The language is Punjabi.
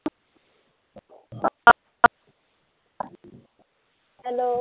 ਹੈਲੋ